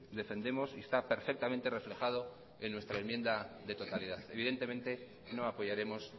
defendemos y está perfectamente reflejado en nuestra enmienda de totalidad evidentemente no apoyaremos